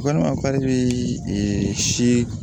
Walima k'ale bɛ si